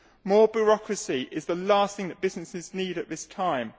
More bureaucracy is the last thing that businesses need at this time.